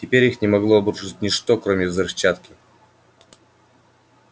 теперь их не могло обрушить ничто кроме взрывчатки